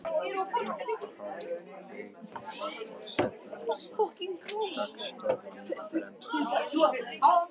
Uppáhald Vigdísar forseta er samt dagstofan, fremst í íbúðinni.